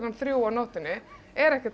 þrjú á nóttunni er ekkert